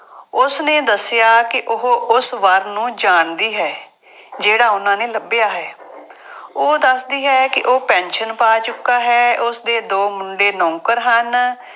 ਉਸਨੇ ਦੱਸਿਆ ਕਿ ਉਹ ਉਸ ਵਰ ਨੂੰ ਜਾਣਦੀ ਹੈ। ਜਿਹੜਾ ਉਹਨਾ ਨੇ ਲੱਭਿਆ ਹੈ। ਉਹ ਦੱਸਦੀ ਹੈ ਕਿ ਉਹ ਪੈਨਸ਼ਨ ਪਾ ਚੁੱਕਾ ਹੈ। ਉਸਦੇ ਦੋ ਮੁੰਡੇ ਨੌਕਰ ਹਨ